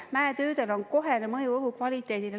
Mäetöödel on kohene mõju õhu kvaliteedile.